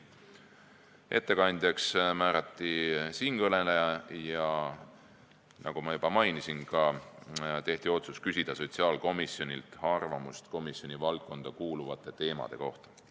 Ettekandjaks määrati siinkõneleja ja nagu ma juba mainisin, tehti ka otsus küsida sotsiaalkomisjonilt arvamust komisjoni valdkonda kuuluvate teemade kohta.